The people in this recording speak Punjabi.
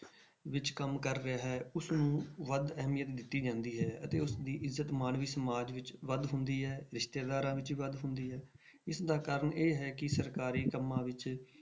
ਵਿੱਚ ਕੰਮ ਕਰ ਰਿਹਾ ਹੈ ਉਸਨੂੰ ਵੱਧ ਅਹਿਮੀਅਤ ਦਿੱਤੀ ਜਾਂਦੀ ਹੈ ਅਤੇ ਉਸਦੀ ਇੱਜ਼ਤ ਮਾਨਵੀ ਸਮਾਜ ਵਿੱਚ ਵੱਧ ਹੁੰਦੀ ਹੈ ਰਿਸ਼ਤੇਦਾਰਾਂ ਵਿੱਚ ਵੱਧ ਹੁੰਦੀ ਹੈ, ਇਸਦਾ ਕਾਰਨ ਇਹ ਹੈ ਕਿ ਸਰਕਾਰੀ ਕੰਮਾਂ ਵਿੱਚ